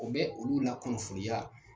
o bɛ olu la kunnafoni yan.